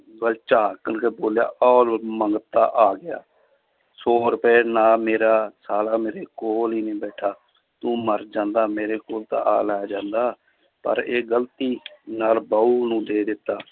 ਵੱਲ ਝਾਕ ਕੇ ਬੋਲਿਆ ਉਹ ਲਓ ਮੰਗਤਾ ਆ ਗਿਆ ਸੌ ਰੁਪਏ ਨਾਲ ਮੇਰਾ ਸਾਲਾ ਮੇਰੇ ਕੋਲ ਹੀ ਨੀ ਬੈਠਾ, ਤੂੰ ਮਰ ਜਾਂਦਾ ਮੇਰੇ ਕੋਲ ਤਾਂ ਆ ਲੈ ਜਾਂਦਾ, ਪਰ ਇਹ ਗ਼ਲਤੀ ਨਾਲ ਬਹੂ ਨੂੰ ਦੇ ਦਿੱਤਾ